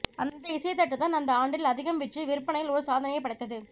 அந்த இசைத்தட்டுதான் அந்த ஆண்டில் அதிகம் விற்று விற்பனையில் ஒரு சாதனையைப் படைத்தது